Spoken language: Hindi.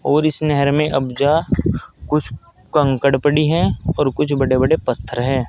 और इस नहर में अब्जा कुछ कंकड़ पड़ी है और कुछ बड़े बड़े पत्थर हैं।